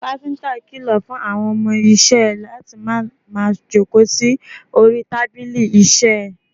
Kápíntà kìlọ̀ fún àwọn ọmọ isẹ́ ẹ̀ láti má máa jókòó sí orí tábìlì ìṣiiṣẹ́ ẹ̀